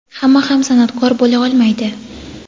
hamma ham san’atkor bo‘la olmaydi.